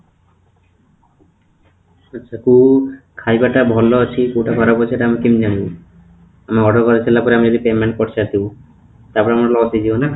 ଆଛା କୋଉ ଖାଇବା ଟା ଭଲ ଅଛି କୋଉଟା ଖରାପ ଅଛି ସେଇଟା ଆମେ କେମିତି ଜାଣିବୁ ? order କରିସାରିଲା ପରେ ଯଦି ଆମେ payment କରିସାରିଥିବୁ ସେଇଟା ଆମର loss ହେଇଯିବ ନା ?